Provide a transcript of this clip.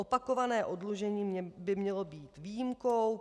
Opakované oddlužení by mělo být výjimkou.